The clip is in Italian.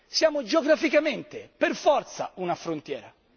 Siamo geograficamente per forza una frontiera.